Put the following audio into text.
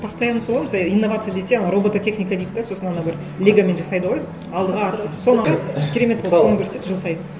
постоянно солай мысалы инновация десе робототехника дейді де сосын анау бір легомен жасайды ғой алдыға артқа соны алады керемет болып соны көрсетеді жыл сайын